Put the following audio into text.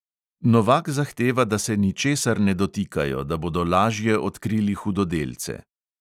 Novak zahteva, da se ničesar ne dotikajo, da bodo lažje odkrili hudodelce.